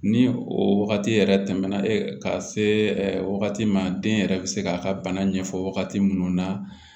Ni o wagati yɛrɛ tɛmɛna ka se wagati ma den yɛrɛ bɛ se k'a ka bana ɲɛfɔ wagati minnu na